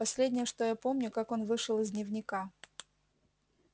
последнее что я помню как он вышел из дневника